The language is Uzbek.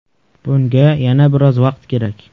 Bunga yana biroz vaqt kerak.